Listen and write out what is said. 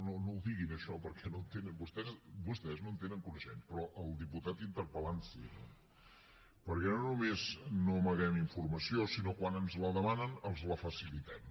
no no ho diguin això perquè vostès no en tenen coneixement però el diputat interpel·lant sí no perquè no només no amaguem informació sinó que quan ens la demanen els la facilitem